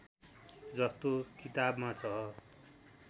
जस्तो किताबमा छ